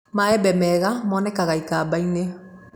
Maembe meega moonekaga ikamba-inĩ